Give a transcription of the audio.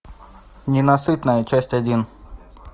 ненасытная часть один